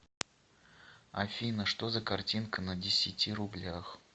афина что за картинка на десяти рублях